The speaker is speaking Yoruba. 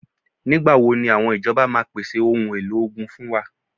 Nígbà wo ni àwọn ìjọba máa pèsè ohun èlò ogun fún wa?